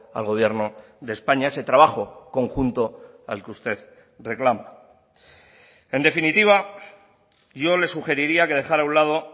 al gobierno de españa a ese trabajo conjunto al que usted reclama en definitiva yo le sugeriría que dejara a un lado